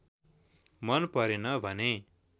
मन परेन भने